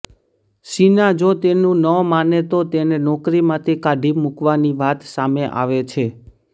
શીના જો તેનું ન માને તો તેને નોકરીમાંથી કાઢી મુકવાની વાત સામે આવે છે